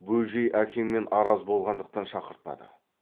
бөжей әкеңмен араз болғандықтан шақыртпады